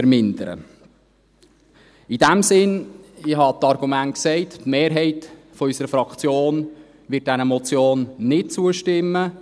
In diesem Sinne – ich habe die Argumente genannt – wird die Mehrheit unserer Fraktion dieser Motion nicht zustimmen.